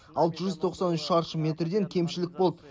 алты жүз тоқсан үш шаршы метрден кемшілік болды